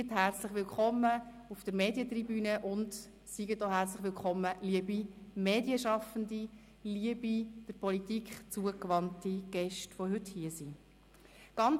Ich heisse auch die Gäste und Medienschaffenden auf der Medientribüne und alle der Politik zugewandten Gäste, die heute hier sind, herzlich willkommen.